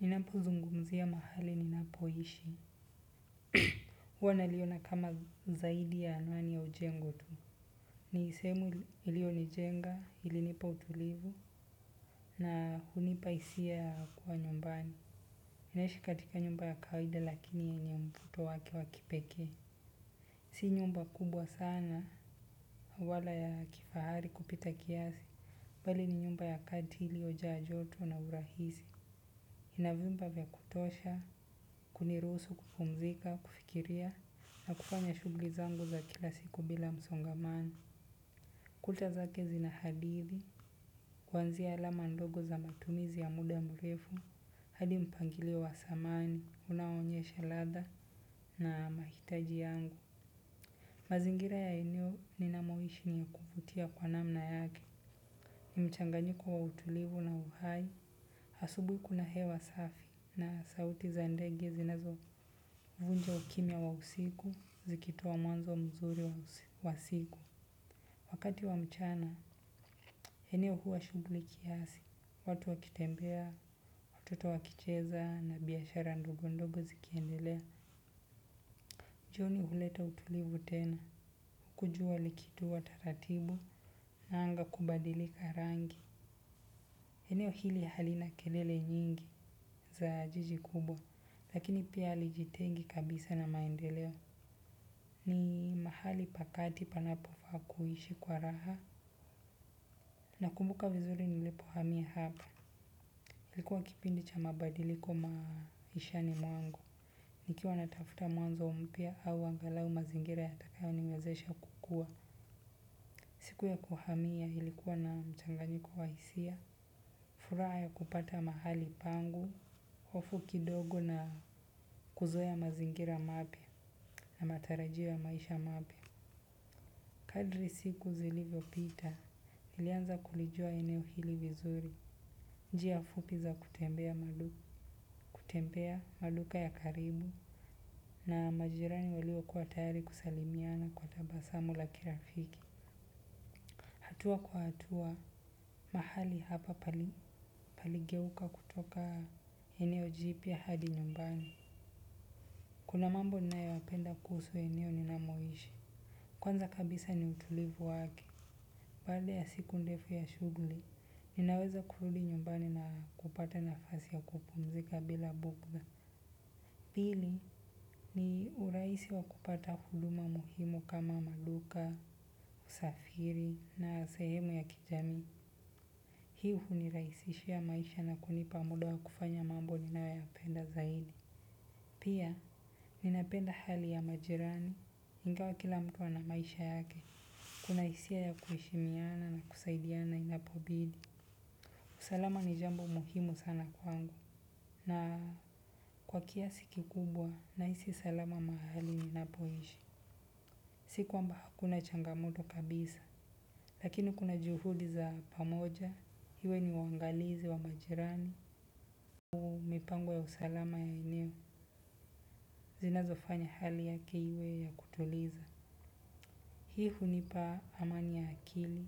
Ninapozungumzia mahali ninapoishi. Huwa naliona kama zaidi ya anuani ya ujengo tu. Ni sehemu ilionijenga, ilinipa utulivu na hunipa hisia ya kuwa nyumbani. Naishi katika nyumba ya kawaida lakini yenye mvuto wake wa kipekee. Si nyumba kubwa sana wala ya kifahari kupita kiasi. Bali ni nyumba ya kati iliojaa joto na urahisi. Ina vyumba vya kutosha, kunirusu kupumzika, kufikiria, na kufanya shughuli zangu za kila siku bila msongamano. Kuta zake zina hadithi, kuanzia alama ndogo za matumizi ya muda mrefu, hadi mpangilio wa samani, unaonyesha ladha na mahitaji yangu. Mazingira ya eneo ninamoishi ni kuvutia kwa namna yake. Ni mchanganyiko wa utulivu na uhai. Asubuhi kuna hewa safi na sauti za ndege zinazovunja ukimya wa usiku zikitoa mwanzo mzuri wa siku. Wakati wa mchana, eneo huwa shughuli kiasi. Watu wakitembea, watoto wakicheza na biashara ndogo ndogo zikiendelea. Jioni huleta utulivu tena. Huku jua likitua taratibu na anga kubadilika rangi. Eneo hili halina kelele nyingi za jiji kubwa. Lakini pia halijitengi kabisa na maendeleo ni mahali pa kati panapofaa kuhishi kwa raha. Nakumbuka vizuri nilipohamia hapa. Ilikuwa kipindi cha mabadiliko maishani mwangu. Nikiwa natafuta mwanzo mpya au angalau mazingira yatakayoniwezesha kukua siku ya kuhamia ilikuwa na mchanganyiko wa hisia, furaha ya kupata mahali pangu, hofu kidogo na kuzoea mazingira mapya na matarajio ya maisha mapya. Kadri siku zilivyopita nilianza kulijua eneo hili vizuri. Njia fupi za kutembea maduka ya karibu na majirani waliokuwa tayari kusalimiana kwa tabasamu la kirafiki. Hatua kwa hatua, mahali hapa paligeuka kutoka eneo jipya hadi nyumbani. Kuna mambo ninayoyapenda kuhusu eneo ninamoishi. Kwanza kabisa ni utulivu wake. Baada ya siku ndefu ya shughuli, ninaweza kurudi nyumbani na kupata nafasi ya kupumzika bila bugdha. Pili, ni urahisi wa kupata huduma muhimu kama maduka, usafiri na sehemu ya kijamii. Hii hunirahisishia maisha na kunipa muda wa kufanya mambo ninayoyapenda zaidi. Pia, ninapenda hali ya majirani. Ingawa kila mtu ana maisha yake. Kuna hisia ya kuheshimiana na kusaidiana inapobidi. Usalama ni jambo muhimu sana kwangu na kwa kiasi kikubwa nahisi salama mahali ninapoishi. Si kwamba hakuna changamoto kabisa lakini kuna juhudi za pamoja iwe ni uangalizi wa majirani. Mipango ya usalama ya eneo zinazofanya hali yake iwe ya kutuliza. Hii hunipa amani ya akili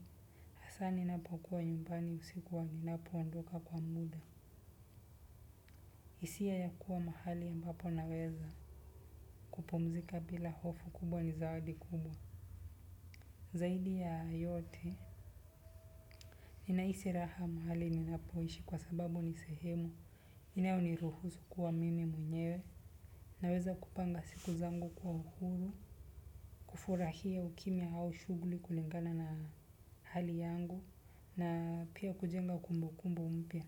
hasaa ninapokuwa nyumbani usiku wa ninapoondoka kwa muda. Hisia ya kuwa mahali ambapo naweza kupumzika bila hofu kubwa ni zawadi kubwa. Zaidi ya yote, ninahisi raha mahali ninapoishi kwa sababu ni sehemu. Inayoniruhusu kuwa mimi mwenyewe. Naweza kupanga siku zangu kwa uhuru, kufurahia ukimya au shughuli kulingana na hali yangu, na pia kujenga kumbukumbu mpya.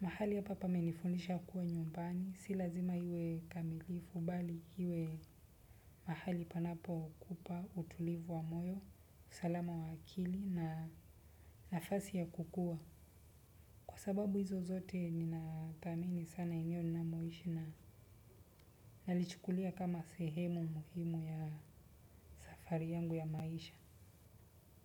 Mahali hapa pamenifunza kuwa nyumbani si lazima iwe kamilifu bali iwe mahali panapokupa utulivu wa moyo usalama wa akili na nafasi ya kukua Kwa sababu hizo zote ninathamini sana eneo ninamoishi na nalichukulia kama sehemu muhimu ya safari yangu ya maisha.